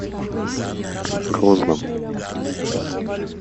грозном